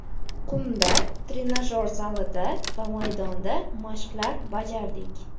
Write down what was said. Qumda, trenajyor zalida va maydonda mashqlar bajardik.